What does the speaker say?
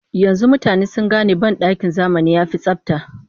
Yanzu mutane sun gane banɗakin zamani ya fi tsabta